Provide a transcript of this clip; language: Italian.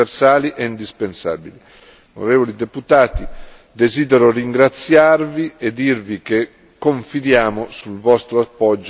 Onorevoli deputati, desidero ringraziarvi e dirvi che confidiamo sul vostro appoggio, oggi e nei prossimi mesi.